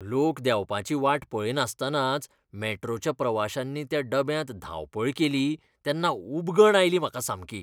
लोक देंवपाची वाट पळयनासतनाच मेट्रोच्या प्रवाश्यांनी त्या डब्यांत धांवपळ केली तेन्ना उबगण आयली म्हाका सामकी.